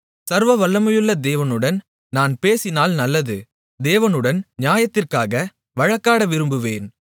சர்வவல்லமையுள்ள தேவனுடன் நான் பேசினால் நல்லது தேவனுடன் நியாயத்திற்காக வழக்காட விரும்புவேன்